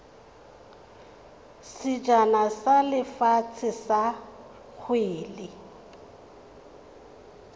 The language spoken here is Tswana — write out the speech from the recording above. sejana sa lefatshe sa kgwele